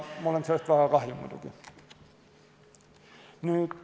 Mul on sellest muidugi väga kahju.